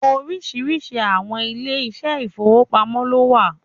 Oríṣiríṣi àwọn ilé ìṣẹ́ ìfowópamọ́ lówà